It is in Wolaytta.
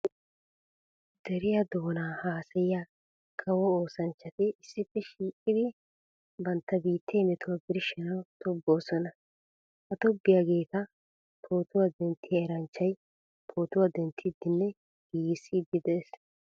Deriya doona haasayiya kawo oosanchchati issippe shiiqiddi bantta biitte metuwa birshshanawu tobboosonna. Ha tobbiyaageta pootuwa denttiya eranchchay pootuwa denttidenne giiggisidde de'ees.